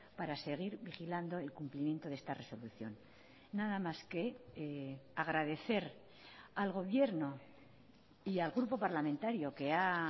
para seguir vigilando el cumplimiento de esta resolución nada más que agradecer al gobierno y al grupo parlamentario que ha